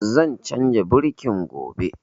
Zan canza birkin gobe